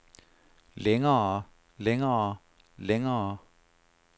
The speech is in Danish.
længere længere længere